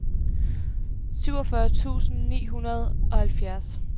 syvogfyrre tusind ni hundrede og halvfjerds